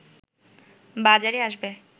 বাজারে আসবে